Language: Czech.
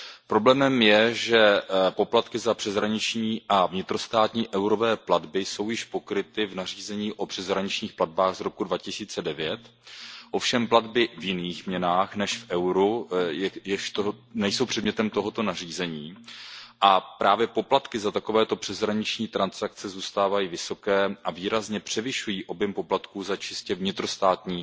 Problémem je, že poplatky za přeshraniční a vnitrostátní eurové platby jsou již pokryty v nařízení o přeshraničních platbách z roku 2009, ovšem platby v jiných měnách než v euru nejsou předmětem tohoto nařízení a právě poplatky za takovéto přeshraniční transakce zůstávají vysoké a výrazně převyšují objem poplatků za čistě vnitrostátní